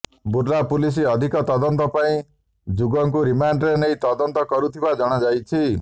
Burla police ଅଧିକ ତଦନ୍ତ ପାଇଁ ଯୁଗଙ୍କୁ ରିମାଣ୍ଡରେ ନେଇ ତଦନ୍ତ କରୁଥିବା ଜଣାଯାଇଛି